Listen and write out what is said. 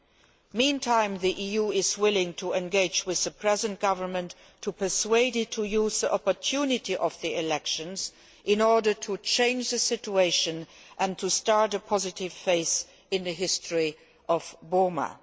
In the meantime, the EU is willing to engage with the present government to persuade it to use the opportunity of the elections in order to change the situation and to start a positive phase in the history of Burma.